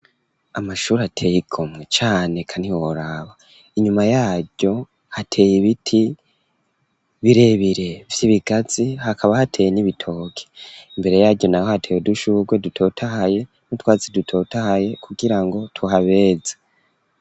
Amashuri ateyeikomwe cane kanihoraba inyuma yaryo hateye ibiti birebire vy'ibigatsi hakaba hateye n'ibitoke imbere yaryo naho hateye udushurwe dutotahaye n'utwatsi dutotahaye kugirango tuhabeze.